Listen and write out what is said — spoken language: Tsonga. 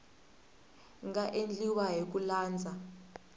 nga endliwa hi ku landza